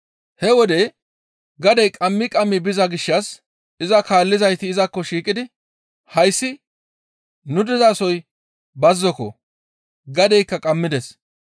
He wode gadey qammi qammi biza gishshas iza kaallizayti izakko shiiqidi, «Hayssi nu dizasoy bazzoko; gadeykka qammides.